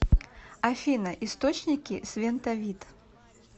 афина источники свентовит